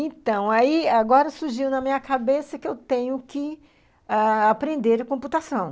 Então, aí agora surgiu na minha cabeça que eu tenho que ãh aprender computação.